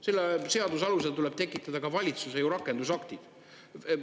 Selle seaduse alusel tuleb ju tekitada ka valitsuse rakendusaktid.